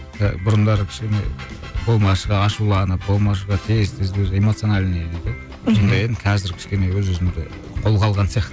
і бұрындары кішкене болмашыға ашуланып болмашыға тез тез бір эмоциональный дейді ғой сондай едім қазір кішкене өз өзімді қолға алған сияқты